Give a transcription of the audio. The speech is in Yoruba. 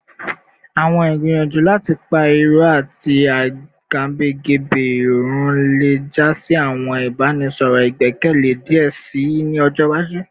Awọn igbiyanju lati pa irọ ati agabagebe run le ja si awọn ibaraenisọrọ igbẹkẹle diẹ sii ni ọjọ iwaju